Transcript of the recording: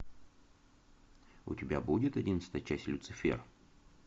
у тебя будет одиннадцатая часть люцифер